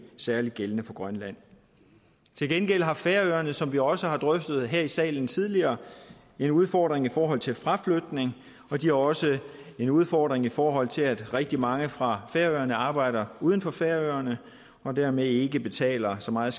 særlig gældende for grønland til gengæld har færøerne som vi også har drøftet her i salen tidligere en udfordring i forhold til fraflytning og de har også en udfordring i forhold til at rigtig mange fra færøerne arbejder uden for færøerne og dermed ikke betaler så meget